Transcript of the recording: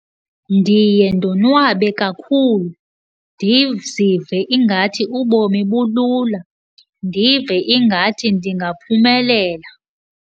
Ndiye ndonwabe kakhulu, ndizive ingathi ubomi bulula, ndive ingathi ndingaphumelela.